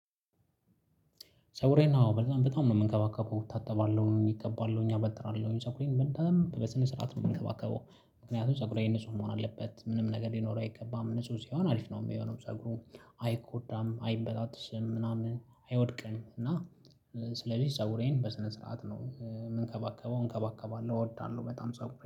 ፀጉሬን አዎ በጣም በጣም ነው የምንከባከበው እወታተባለሁ የሚገባለሁ እኛ እበጥራለሁ ሰውሬን በጣም በስነ ስርዓት ነው የምንከባከበው። ምክንያቱም ፀጉሬ እነሱ መሆን አለበት ምንም ነገር ሊኖር አይገባም ንጹህ ሲሆን አሪፍ ነው የሚሆነው ፀጉሩ። አይጎዳም አይበጣጥስም ምናምን አይወድቅም እና። ስለዚህ ፀጉሬን በስነ ስርዓት ነው የምንከባከበው እንከባከባለን እወዳለሁ በጣም ፀጉሬ